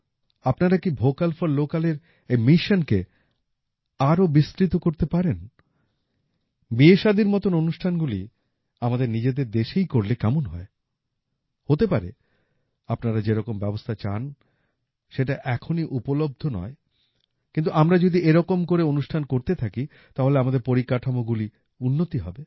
আপনারা কি vocal for Localএর এই মিশনকে আরো বিস্তৃত করতে পারেন বিয়েশাদির মতন অনুষ্ঠানগুলি আমাদের নিজেদের দেশেই করলে কেমন হয় হতে পারে আপনারা যেরকম ব্যবস্থা চান সেটা এখনই উপলব্ধ নয় কিন্তু আমরা যদি এরকম করে অনুষ্ঠান করতে থাকি তাহলে আমাদের পরিকাঠামোগুলি উন্নতি হবে